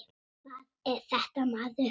Hvað er þetta maður.